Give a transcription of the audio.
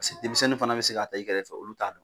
paseke denmisɛnni fana be se k'a ta i kɛrɛ fɛ olu t'a dɔn